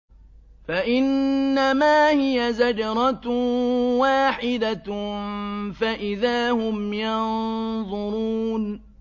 فَإِنَّمَا هِيَ زَجْرَةٌ وَاحِدَةٌ فَإِذَا هُمْ يَنظُرُونَ